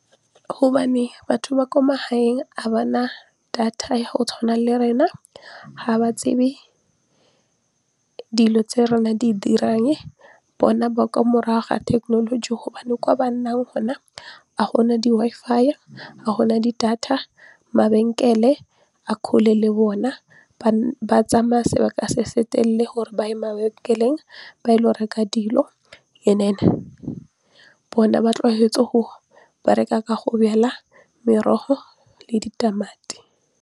Hobane batho ba kwa magaeng ga bana data go tshwana le rena ha ba tsebe dilo tse rena di dirang bona ba kwa morago ga thekenoloji gobane kwa ba nnang hona ga gona di-Wi-Fi, a gona data, mabenkele a kgole le bona ba tsamaya sebaka se se telele gore ba ye mabenkeleng ba 'ile go reka dilo and then bona ba tlwaetse go bereka go bjala merogo le ditamati.